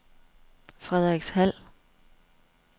Frederikshald